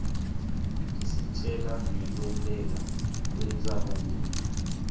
isitjela ngkwenteka kwentsaba mlilo